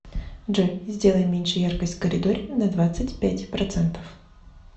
джой сделай меньше яркость в коридоре на двадцать пять процентов